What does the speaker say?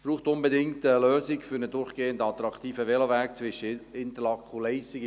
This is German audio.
Es braucht unbedingt eine Lösung für einen durchgehend attraktiven Veloweg zwischen Interlaken und Leissigen.